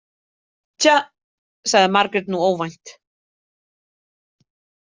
Tja, sagði Margrét nú óvænt.